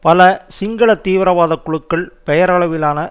பல சிங்கள தீவிரவாத குழுக்கள் பெயரளவிலான